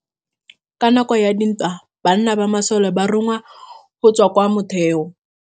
Ka nakô ya dintwa banna ba masole ba rongwa go tswa kwa mothêô.